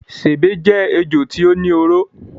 Sèbé jé ejò tí ó ní oró.